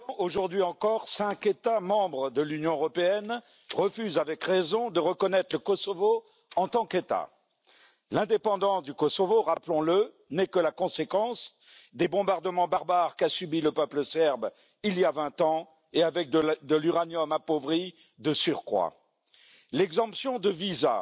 Monsieur le Président, aujourd'hui encore cinq États membres de l'Union européenne refusent, avec raison, de reconnaître le Kosovo en tant qu'État. L'indépendance du Kosovo, rappelons le, n'est que la conséquence des bombardements barbares subis par le peuple serbe, il y a vingt ans, et avec de l'uranium appauvri, de surcroît. L'exemption de visa